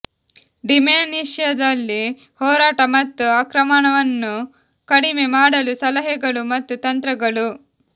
ಡಿಮೆನ್ಶಿಯಾದಲ್ಲಿ ಹೋರಾಟ ಮತ್ತು ಆಕ್ರಮಣವನ್ನು ಕಡಿಮೆ ಮಾಡಲು ಸಲಹೆಗಳು ಮತ್ತು ತಂತ್ರಗಳು